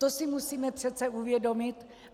To si musíme přece uvědomit.